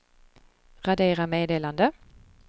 radera meddelande